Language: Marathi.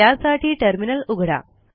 त्यासाठी टर्मिनल उघडा